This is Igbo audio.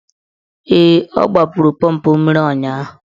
Ee, ọ gbapụrụ pọmpụ mmiri ụnyaahụ.